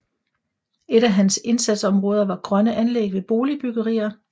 Et af hans indsatsområder var grønne anlæg ved boligbyggerier